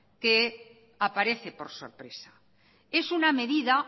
que aparece por sorpresa es una medida